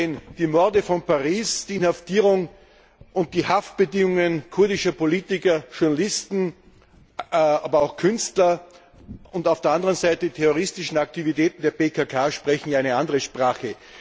Denn die Morde von Paris, die Inhaftierung und die Haftbedingungen kurdischer Politiker, Journalisten, aber auch Künstler und auf der anderen Seite die terroristischen Aktivitäten der PKK sprechen ja eine andere Sprache.